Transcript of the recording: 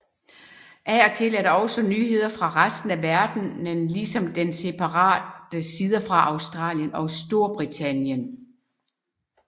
Af og til er der også nyheder fra resten af verdenen ligesom der separate sider for Australien og Storbritannien